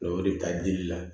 O de bɛ taa dili la